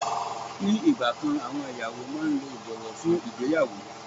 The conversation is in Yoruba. Ni ìgbà kan àwọn ìyàwó máa ń lo ìbọ̀wọ́ fún ìgbéyàwó.